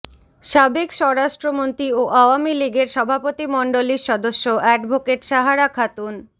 সাবেক স্বরাষ্ট্রমন্ত্রী ও আওয়ামী লীগের সভাপতিমণ্ডলীর সদস্য অ্যাডভোকেট সাহারা খাতুন